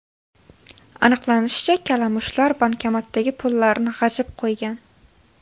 Aniqlanishicha, kalamushlar bankomatdagi pullarni g‘ajib qo‘ygan.